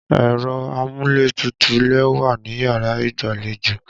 Ẹ̀rọ amúlétutù lè wà níyàrá ìgbàlejò.